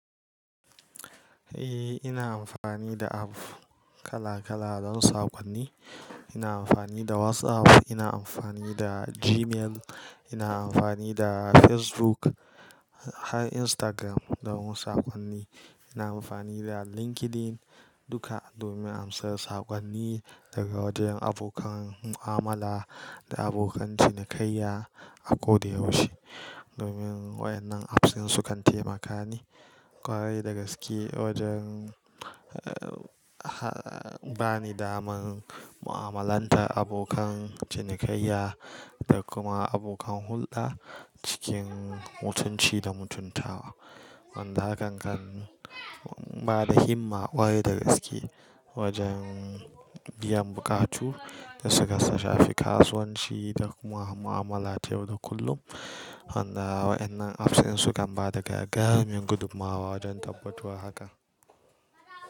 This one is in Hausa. Ina amfani da app kala kala don saƙonni. Ina amfani da WhatsApp, ina amfani da Gmail, ina amfani da Facebook, har Instagram don saƙonni. Ina amfani da LinkedIn duka domin in samu saƙonni daga wajen abokan mu'amala da abokan cinikayya a ko da yaushe. Domin waɗannan apps din su kan taimaka min ƙwarai da gaske wajen, ba ni daman mu'amalantar abokan cinikayya da kuma abokan hulɗa cikin mutunci da mutuntawa. Wanda hakan kan ba da himma ƙwarai da gaske wajen biyan buƙatu da suka shafi kasuwanci da kuma mu'amala ta yau da kullum. Amma waɗannan apps din su kan ba da gagarumin gudummawa wajen tabbatarwa da haka.